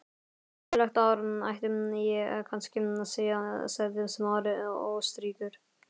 Gleðilegt ár, ætti ég kannski að segja- sagði Smári óstyrkur.